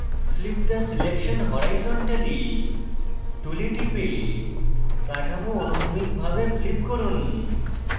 flip the selection horizontally tool টিপে কাঠামো অনুভূমিকভাবে flip করুন